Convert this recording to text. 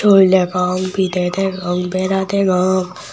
sol degong pidey degong bera degong.